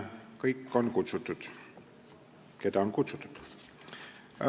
Kõik on kutsutud, keda on kutsutud.